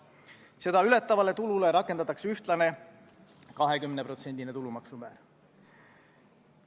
Seda ületavale tulule rakendatakse ühtlast 20%-list tulumaksu määra.